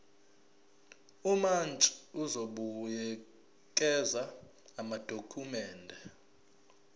umantshi uzobuyekeza amadokhumende